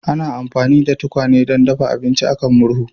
Ana amfani da tukwane don dafa abinci a kan murhu